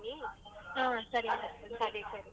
ಹ್ಮ್ ಸರಿ .